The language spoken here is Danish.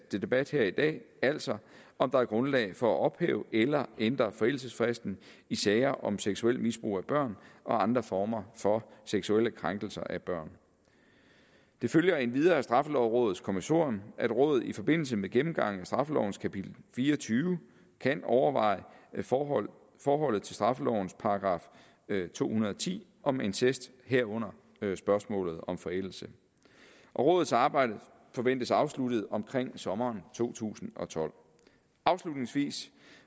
debat her i dag altså om der er grundlag for at ophæve eller ændre forældelsesfristen i sager om seksuelt misbrug af børn og andre former for seksuelle krænkelser af børn det følger endvidere af straffelovrådets kommissorium at rådet i forbindelse med gennemgangen af straffelovens kapitel fire og tyve kan overveje forholdet forholdet til straffelovens § to hundrede og ti om incest herunder spørgsmålet om forældelse rådets arbejde forventes afsluttet omkring sommeren to tusind og tolv afslutningsvis